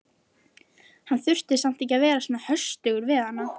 Hann þurfti samt ekki að vera svona höstugur við hana.